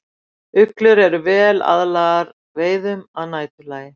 Uglur eru vel aðlagaðar veiðum að næturlagi.